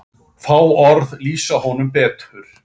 Fá orð lýsa honum betur.